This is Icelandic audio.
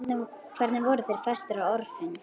Hvernig voru þeir festir á orfin?